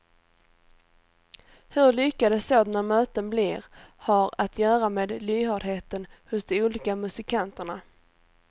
Hur lyckade sådana möten blir har att göra med lyhördheten hos de olika musikanterna.